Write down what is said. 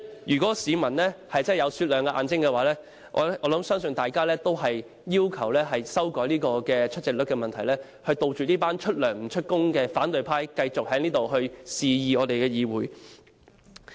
如果市民的眼睛是雪亮的，我相信大家也會要求修改出席率，杜絕這些出糧不出勤的反對派，繼續在議會裏肆意妄為。